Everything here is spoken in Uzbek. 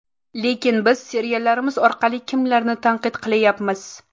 Lekin biz seriallarimiz orqali kimlarni tanqid qilyapmiz?